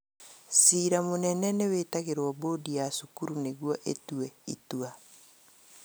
Cira mũnene nĩwĩtagĩrwo mbũndi ya cukuru nĩguo ĩtue itua